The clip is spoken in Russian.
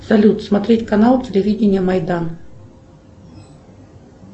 салют смотреть канал телевидение майдан